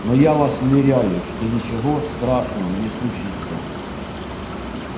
но я вас уверяю что ничего страшного не случится